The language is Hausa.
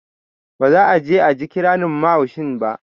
Ba za'a je aji ƙirarin mahaushin ba